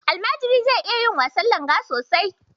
Almajiri zai ya iya wasan langa sosai.